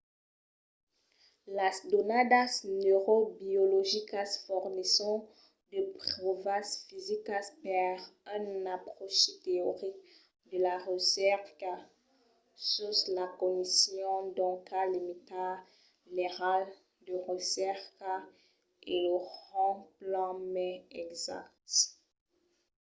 las donadas neurobiologicas fornisson de pròvas fisicas per un apròchi teoric de la recerca sus la cognicion. doncas limita l'airal de recerca e lo rend plan mai exacte